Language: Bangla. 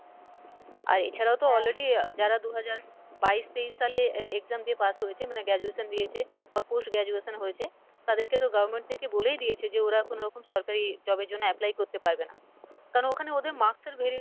আর এছাড়াও তো already আহ যারা দু হাজার বাইশ তেইশ সালে e~exam দিয়ে pass হয়েছে মানে graduation দিয়েছে বা post graduation হয়েছে তাদেরকে তো government থেকে বলেই দিয়েছে যে ওরা কোনোরকম সরকারি job এর জন্য apply করতে পারবে না কারন ওখানে ওদের marks এর